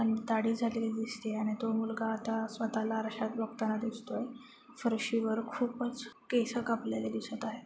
आणि दाडी झालेली दिसतेय आणि तो मुलगा आता सवःताला आरश्यात बघताना दिसतोय. फरशीवर खूपच केस कापलेली दिसत आहेत.